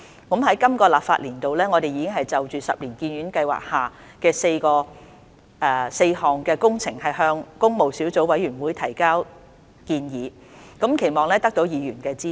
在今個立法年度，我們已就十年醫院發展計劃下4項工程向工務小組委員會提交建議，期望得到議員的支持。